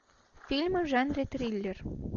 фильмы в жанре триллер